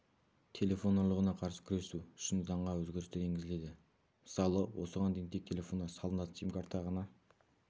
телефон ұрлығына қарсы күресу үшін заңға өзгерістер енгізіледі мысалы осыған дейін тек телефонға салынатын симкарта ғана